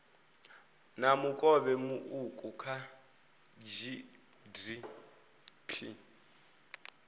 na mukovhe muuku kha gdp